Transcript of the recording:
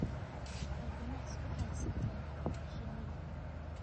waxay ganacsi u haystaan ??shinida.